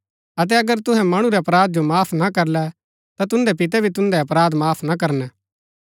अतै अगर तुहै मणु रै अपराध जो माफ ना करलै ता तुन्दै पिते भी तुन्दै अपराध माफ न करणै